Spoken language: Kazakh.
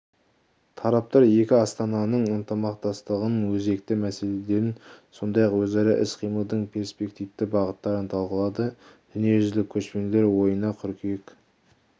тараптар екі астананың ынтымақтастығының өзекті мәселелерін сондай-ақ өзара іс-қимылдың перспективті бағыттарын талқылады дүниежүзілік көшпенділер ойыны қыркүйек